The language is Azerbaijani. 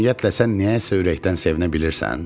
Ümumiyyətlə sən niyəsə ürəkdən sevinə bilmirsən?